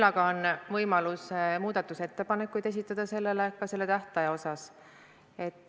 Ja on ju võimalus esitada muudatusettepanekuid ka selle tähtaja kohta.